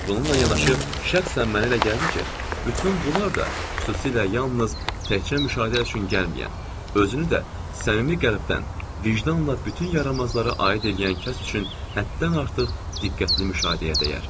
Bununla yanaşı, şəxsən mənə elə gəldi ki, bütün bunlar da, xüsusilə yalnız təkcə müşahidə üçün gəlməyən, özünü də səmimi qəlbdən, vicdanla bütün yaramazlara aid eləyən kəs üçün həddən artıq diqqətli müşahidəyə dəyər.